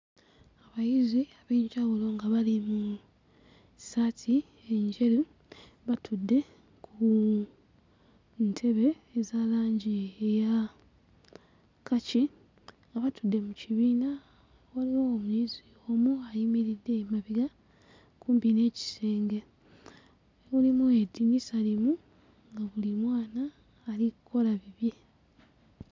Abayizi ab'enjawulo nga bali mu ssaati enjeru batudde ku ntebe eza langi eya kkaki nga batudde mu kibiina, waliwo omuyizi omu ayimiridde emabega kumpi n'ekisenge, mulimu eddinisa limu nga buli mwana ali kkola bibye.